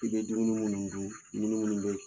I bɛ dumuni minnu dun dumuni minnu bɛ